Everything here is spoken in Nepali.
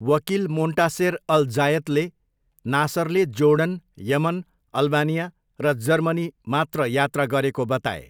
वकिल मोन्टासेर अल जायतले नासरले जोर्डन, यमन, अल्बानिया र जर्मनी मात्र यात्रा गरेको बताए।